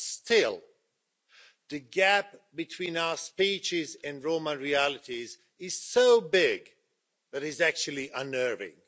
But still, the gap between our speeches and Roma realities is so big that it is actually unnerving.